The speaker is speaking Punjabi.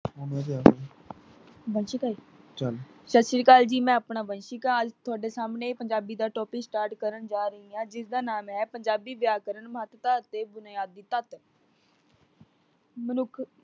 ਸਸਰੀਕਕਾਲ ਜੀ, ਮੈਂ ਆਪਣਾ ਵੰਸ਼ੀਕਾਲ ਤੁਹਾਡੇ ਸਾਹਮਣੇ ਪੰਜਾਬੀ ਦਾ topic start ਕਰਨ ਜਾ ਰਹੀ ਹਾਂ, ਜਿਸਦਾ ਨਾਮ ਹੈ ਪੰਜਾਬੀ ਵਿਆਕਰਨ ਮਹੱਤਤਾ ਅਤੇ ਬੁਨਿਆਦੀ ਤੱਤ। ਮਨੁੱਖ